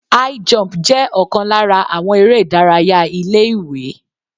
High jump jẹ́ ọ̀kan lára àwọn eré ìdárayá ilé ìwé.